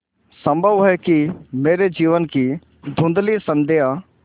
संभव है कि मेरे जीवन की धँुधली संध्या